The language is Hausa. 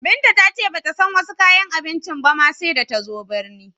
Binta ta ce ba ta san wasi kayan abincin ba ma, sai da ta zo binni.